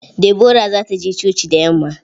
Deborah za ta je coci da yamma.